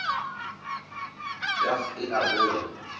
ya th e a boa